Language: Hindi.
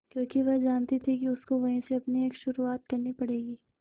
क्योंकि वह जानती थी कि उसको वहीं से अपनी एक शुरुआत करनी पड़ेगी